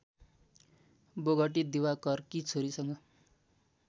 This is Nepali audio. बोगटी दिवाकरकी छोरीसँग